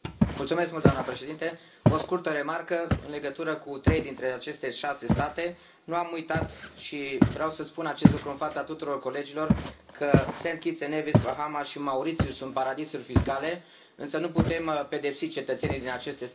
Doamna președintă, o scurtă remarcă în legătură cu trei dintre aceste șase state nu am uitat și vreau să spun acest lucru în fața tuturor colegilor că Saint Kitts and Nevis, Bahamas și Mauritius sunt paradisuri fiscale, însă nu putem pedepsi cetățenii din aceste state.